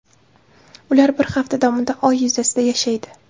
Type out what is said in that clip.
Ular bir hafta davomida Oy yuzasida yashaydi.